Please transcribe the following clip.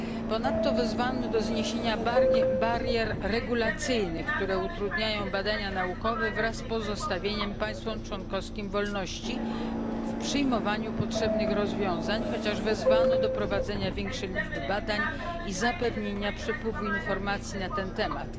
Ponadto wezwano do zniesienia barier regulacyjnych, które utrudniają badania naukowe, wraz z pozostawieniem państwom członkowskim wolności w przyjmowaniu potrzebnych rozwiązań, chociaż wezwano do prowadzenia większej liczby badań i zapewnienia przepływu informacji na ten temat.